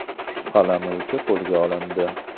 Shubhalanuvchi qo‘lga olindi.